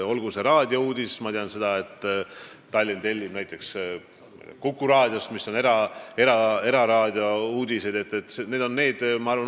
Olgu see raadiouudis – ma tean seda, et Tallinn tellib uudiseid näiteks Kuku raadiost, mis on eraraadio – või mõni muu.